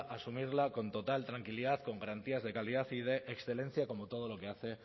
asumirla con total tranquilidad con garantías de calidad y de excelencia como todo lo que hace